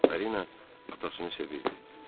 Viktorina atasını sevirdi.